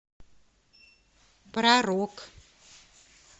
про рок